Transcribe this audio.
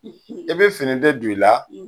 i be fini de don i la